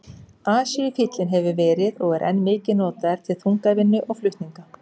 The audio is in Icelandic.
Asíufíllinn hefur verið og er enn mikið notaður til þungavinnu og flutninga.